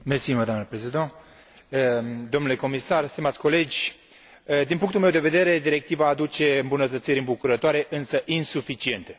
Doamnă președinte, domnule comisar, stimați colegi, din punctul meu de vedere, directiva aduce îmbunătățiri îmbucurătoare, însă insuficiente.